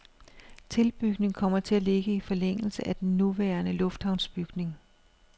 Tilbygningen kommer til at ligge i forlængelse af den nuværende lufthavnsbygning.